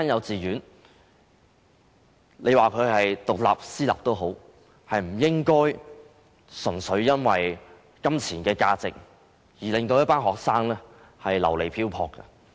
即使是獨立的私立幼稚園，也不應純粹因為金錢而令一群學生流離漂泊。